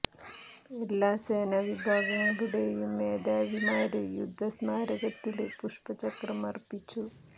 എല്ലാ സേനാ വിഭാഗങ്ങളുടെയും മേധാവിമാര് യുദ്ധ സ്മാരകത്തില് പുഷ്പ ചക്രം അര്പ്പിച്ചു